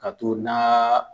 Ka t'o na